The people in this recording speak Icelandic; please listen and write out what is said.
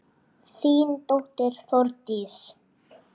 Þín dóttir Þórdís.